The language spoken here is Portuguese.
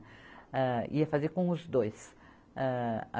Ah, ia fazer com os dois. ah